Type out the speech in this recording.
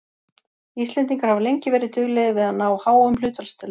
Íslendingar hafa lengi verið duglegir við að ná háum hlutfallstölum.